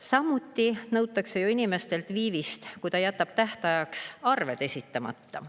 Samuti nõutakse ju inimestelt viivist, kui ta jätab tähtajaks arved esitamata.